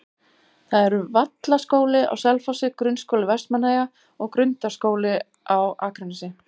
Það eru Vallaskóli á Selfossi, Grunnskóli Vestmannaeyja og Grundaskóli á Akranesi.